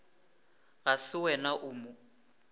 ga se wena o mo